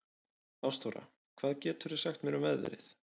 Ástþóra, hvað geturðu sagt mér um veðrið?